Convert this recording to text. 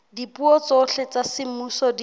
dipuo tsohle tsa semmuso di